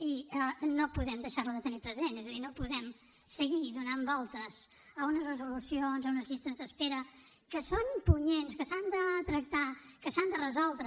i no podem deixar la de tenir present és a dir no podem seguir fent voltes a unes resolucions a unes llistes d’espera que són punyents que s’han de tractar que s’han de resoldre